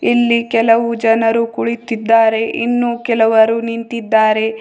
ಇಲ್ಲಿ ಕೆಲವು ಜನರು ಕುಳಿತಿದ್ದಾರೆ ಇನ್ನೂ ಕೆಲವರು ನಿಂತಿದ್ದಾರೆ.